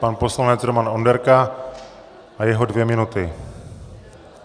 Pan poslanec Roman Onderka a jeho dvě minuty.